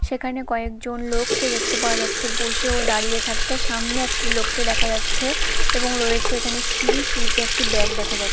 সেখানে কয়েকজন লোককে দেখতে পাওয়া যাচ্ছে বসে ও দাঁড়িয়ে থাকতে। সামনে একটি লোককে দেখা যাচ্ছে এবং রয়েছে এখানে সিঁড়ি সিঁড়িতে একটি ব্যাগ দেখা যাচ্ছে।